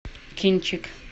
кинчик